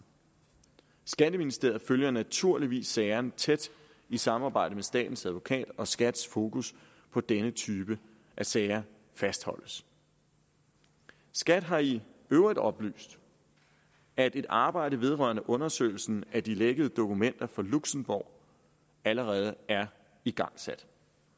skatteministeriet følger naturligvis sagerne tæt i samarbejde med statens advokat og skats fokus på denne type af sager fastholdes skat har i øvrigt oplyst at et arbejde vedrørende undersøgelsen af de lækkede dokumenter for luxembourg allerede er igangsat